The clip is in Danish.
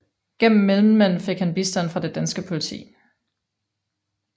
Gennem mellemmænd fik han bistand fra det danske politi